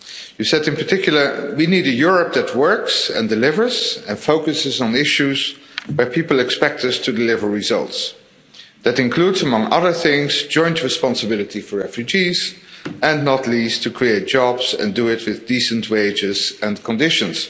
You said in particular that we need a Europe that works and delivers and focuses on the issues where people expect us to deliver results. That includes, among other things, joint responsibility for refugees and, not least, to create jobs and do it with decent wages and conditions.